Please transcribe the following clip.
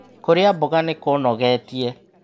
Kũria mboga nĩkũnogetie